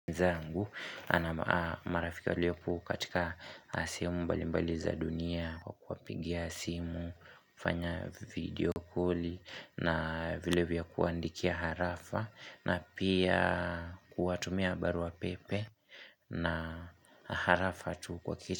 Zangu ana marafika walioko katika sehemu mbalimbali za dunia kwa kuwapigia simu, kufanya video koli na vilevile kuandikia harafa na pia kuwatumia barupepe na harafa tu kwa kichu.